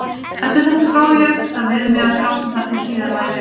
Eftir þetta dró ég það við mig að gráta þar til síðar á ævinni.